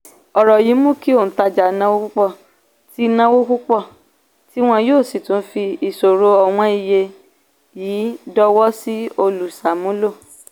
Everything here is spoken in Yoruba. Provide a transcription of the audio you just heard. ọ̀rọ̀ yìí mú kí òǹtajà náwó púpọ̀ tí náwó púpọ̀ tí wọ́n yóò sì tún fi ìṣòro ọ̀wọ́n iye yìí dọwọ́ sí olùsàmúlò.